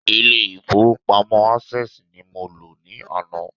Ilé ìfowópamọ́ Access ni mo lọ ní àná